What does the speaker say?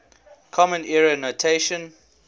common era notation